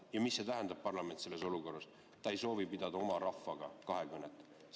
Ja mida see tähendab, parlament, et ta ei soovi selles olukorras pidada oma rahvaga kahekõnet?